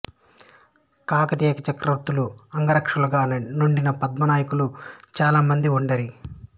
కాకతీయ చక్రవర్తులకు అంగరక్షకులుగా నుండిన పద్మనాయకులు చాలా మంది ఉండిరి